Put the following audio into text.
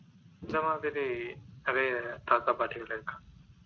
இந்த மாதிரி நிறைய தாத்தாபாட்டிகள் இருக்கிறாங்க